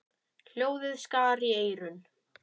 Hljóðið skar í eyrun.